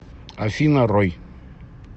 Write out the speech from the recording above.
афина рой